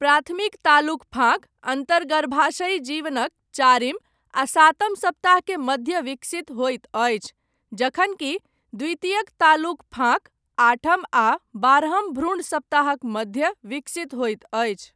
प्राथमिक तालुक फाँक अन्तर्गर्भाशयी जीवनक चारिम आ सातम सप्ताह के मध्य विकसित होइत अछि जखनकि द्वितीयक तालुक फाँक आठम आ बारहम भ्रूण सप्ताहक मध्य विकसित होइत अछि।